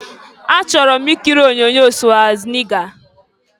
Achọrọ m ikiri onyoonyo Swazniga.